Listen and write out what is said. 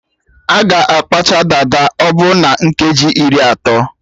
A ga-akpacha dada ọbụ na nkeji iri atọ